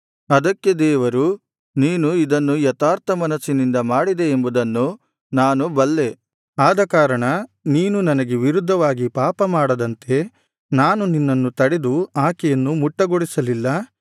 ಅದಕ್ಕೆ ದೇವರು ನೀನು ಇದನ್ನು ಯಥಾರ್ಥ ಮನಸ್ಸಿನಿಂದ ಮಾಡಿದೆ ಎಂಬುದನ್ನು ನಾನು ಬಲ್ಲೆ ಆದಕಾರಣ ನೀನು ನನಗೆ ವಿರುದ್ಧವಾಗಿ ಪಾಪಮಾಡದಂತೆ ನಾನು ನಿನ್ನನ್ನು ತಡೆದು ಆಕೆಯನ್ನು ಮುಟ್ಟಗೊಡಿಸಲಿಲ್ಲ